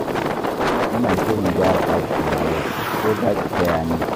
Ina shirin gyara ɗakina yau, ko za ki taya ni.